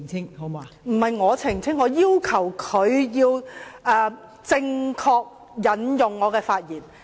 代理主席，不是由我澄清，我要求他正確引述我的發言。